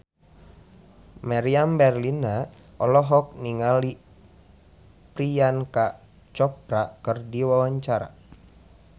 Meriam Bellina olohok ningali Priyanka Chopra keur diwawancara